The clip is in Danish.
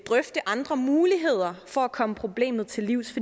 drøfte andre muligheder for at komme problemet til livs